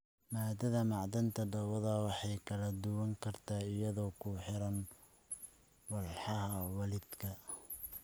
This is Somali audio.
Maaddada macdanta dhoobada way kala duwanaan kartaa iyadoo ku xiran walxaha waalidka.